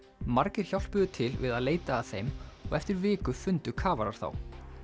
margir hjálpuðu til við að leita að þeim og eftir viku fundu kafarar þá